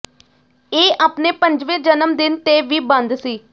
ਇਹ ਆਪਣੇ ਪੰਜਵੇਂ ਜਨਮ ਦਿਨ ਤੇ ਵੀ ਬੰਦ ਸੀ